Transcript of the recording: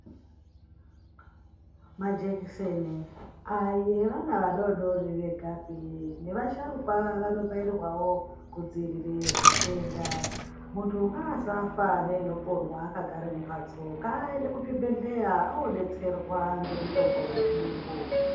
Majekiseni ayi evana vadodori vegapi. Nevasharukwa vanobairwawo kudzivirira zvitenda. Muntu ngaasafa neinoponwa akagara mumhatso, ngaaende kuzvibhendleya odetserwa ngemitombo yezviyungu.